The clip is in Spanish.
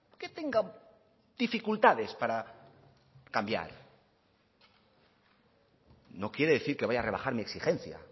que tenga dificultades para cambiar no quiere decir que vaya a rebajar mi exigencia